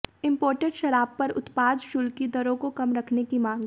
imported शराब पर उत्पाद शुल्क की दरों को कम रखने की मांग